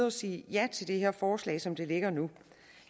og sige ja til det her forslag som det ligger nu